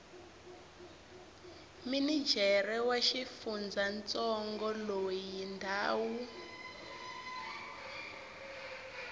minijere wa xifundzantsongo loyi ndhawu